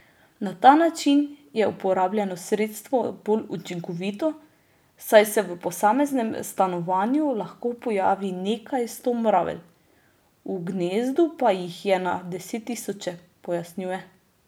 Na ta način je uporabljeno sredstvo bolj učinkovito, saj se v posameznem stanovanju lahko pojavi nekaj sto mravelj, v gnezdu pa jih je na desettisoče, pojasnjuje.